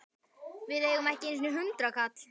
Við eigum ekki einu sinni hundraðkall!